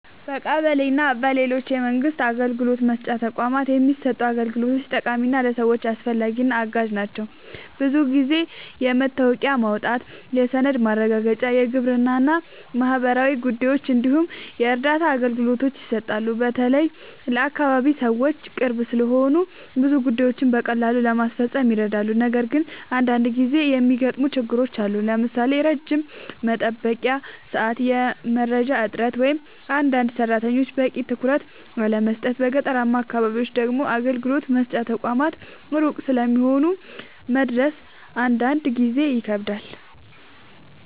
በቀበሌ እና በሌሎች የመንግስት አገልግሎት መስጫ ተቋማት የሚሰጡ አገልግሎቶች በአጠቃላይ ለሰዎች አስፈላጊ እና አጋዥ ናቸው። ብዙ ጊዜ የመታወቂያ ማውጣት፣ የሰነድ ማረጋገጫ፣ የግብር እና ማህበራዊ ጉዳዮች እንዲሁም የእርዳታ አገልግሎቶች ይሰጣሉ። በተለይ ለአካባቢ ሰዎች ቅርብ ስለሆኑ ብዙ ጉዳዮችን በቀላሉ ለመፈጸም ይረዳሉ። ነገር ግን አንዳንድ ጊዜ የሚገጥሙ ችግሮችም አሉ፣ ለምሳሌ ረጅም የመጠበቂያ ሰዓት፣ የመረጃ እጥረት ወይም አንዳንድ ሰራተኞች በቂ ትኩረት አለመስጠት። በገጠራማ አካባቢዎች ደግሞ አገልግሎት መስጫ ተቋማት ሩቅ ስለሚሆኑ መድረስ አንዳንድ ጊዜ ይከብዳል።